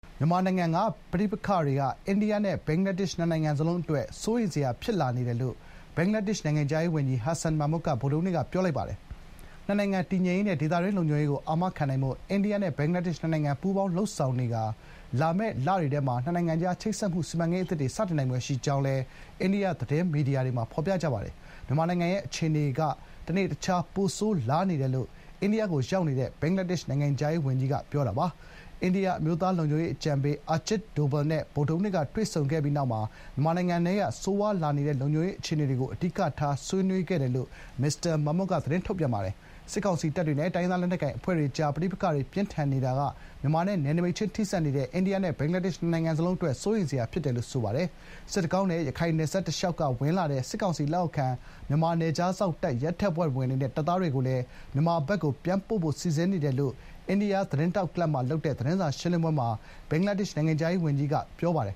မြန်မာနိုင်ငံကပဋိပက္ခတွေက အိန္ဒိယနဲ့ ဘင်္ဂလားဒေ့ရှ် နှစ်နိုင်ငံစလုံးအတွက် စိုးရိမ်စရာ ဖြစ်လာနေတယ်လို့ ဘင်္ဂလားဒေ့ရှ် နိုင်ငံခြားရေးဝန်ကြီး ဟာဆန် မာမွတ် (Hasan Mahmud) က ဗုဒ္ဓဟူးနေ့က ပြောလိုက်ပါတယ်။ နှစ်နိုင်ငံတည်ငြိမ်ရေးနဲ့ ဒေသတွင်းလုံခြုံရေးကိုအာမခံနိုင်ဖို့ အိန္ဒိယနဲ့ဘင်္ဂလားဒေ့ရှ်နှစ်နိုင်ငံ ပူးပေါင်းလုပ်ဆောင်နေပြီး လာမယ့်လတွေအတွင်း နှစ်နိုင်ငံကြား ချိတ်ဆက်မှုစီမံကိန်းအသစ်တွေ စတင်နိုင်ဖွယ်ရှိကြောင်း အိန္ဒိယသတင်းမီဒီယာတွေမှာ ဖော်ပြကြပါတယ်။ မြန်မာနိုင်ငံရဲ့အခြေအနေကလည်း တနေ့တခြား ပိုဆိုးလာနေတယ်လို့ အိန္ဒိယနိုင်ငံကိုရောက်နေတဲ့ ဘင်္ဂလားဒေ့ရှ် နိုင်ငံခြားရေးဝန်ကြီးက ပြောပါတယ်။ အိန္ဒိယ အမျိုးသားလုံခြုံရေးအကြံပေး အာဂျစ်ဒိုဗယ်လ် (Ajit Doval) နဲ့ ဗုဒ္ဓဟူးနေ့က တွေ့ဆုံခဲ့ပြီး မြန်မာနိုင်ငံထဲက ဆိုးရွားလာနေတဲ့ လုံခြုံရေးအခြေအနေကို အဓိကဆွေးနွေးခဲ့တယ်လို့ မစ္စတာ မာမွတ်က ပြောပါတယ်။ စစ်ကောင်စီတပ်တွေနဲ့ တိုင်းရင်းသား လက်နက်ကိုင်အဖွဲ့တွေကြား ပဋိပက္ခတွေ ပြင်းထန်နေတာက မြန်မာနဲ့ နယ်နိမိတ်ချင်းထိစပ်နေတဲ့ အိန္ဒိယနဲ့ ဘင်္ဂလားဒေ့ရှ် နှစ်နိုင်ငံစလုံးအတွက် စိုးရိမ်စရာလို့ ဆိုပါတယ်။ “စစ်တကောင်းနဲ့ ရခိုင်နယ်စပ်တလျှောက်ကဝင်လာတဲ့ စစ်ကောင်စီလက်အောက်ခံ မြန်မာနယ်ခြားစောင့် ရဲတပ်ဖွဲ့ဝင်တွေနဲ့ တပ်သားတွေကိုလည်း မြန်မာဘက်ကို ပြန်ပို့ဖို့ စီစဥ်နေတယ်” လို့လည်း Press Club of India (အိန္ဒိယ သတင်းထောက် ကလပ်) မှာလုပ်တဲ့ သတင်းစာရှင်းလင်းပွဲမှာ ဘင်္ဂလားဒေ့ရှ်နိုင်ငံခြားရေးဝန်ကြီးက ပြောပါတယ်